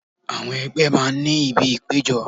Àwọn ẹgbẹ́ máa ń ní ibi ìpéjọ.